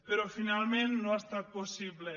però finalment no ha estat possible